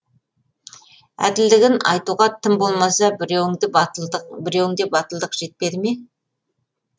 әділдігін айтуға тым болмаса біреуіңде батылдық жетпеді ме